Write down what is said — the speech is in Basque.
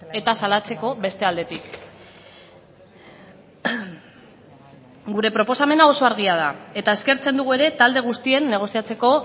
eta salatzeko beste aldetik gure proposamena oso argia da eta eskertzen dugu ere talde guztien negoziatzeko